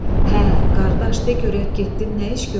Hə, qardaş, de görək getdin nə iş gördün?